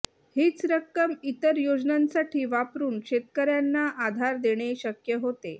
हीच रक्कम इतर योजनांसाठी वापरून शेतकऱ्यांना आधार देणे शक्य होते